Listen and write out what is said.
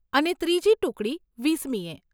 અને ત્રીજી ટુકડી વીસમીએ.